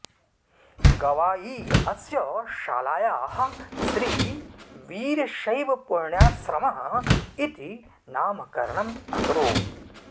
गवायी अस्य शालायाः श्री वीरशैवपुण्याश्रमः इति नामकरणम् अकरोत्